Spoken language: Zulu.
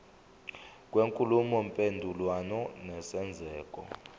kwenkulumo mpendulwano nesenzeko